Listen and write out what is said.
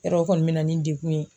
Yɔrɔ o kɔni be na ni degun ye